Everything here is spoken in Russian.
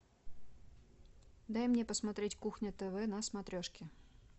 дай мне посмотреть кухня тв на смотрешке